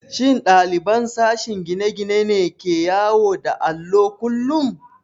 Shin ɗaliban sashen gine-gine ne ke yawo da allo kullum?